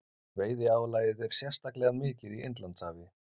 Veiðiálagið er sérstaklega mikið í Indlandshafi.